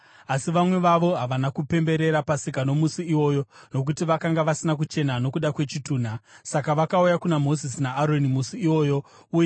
Asi vamwe vavo havana kupemberera Pasika nomusi iwoyo nokuti vakanga vasina kuchena nokuda kwechitunha. Saka vakauya kuna Mozisi naAroni musi iwoyo uye,